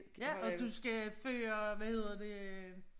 Ja og du skal føre hvad hedder det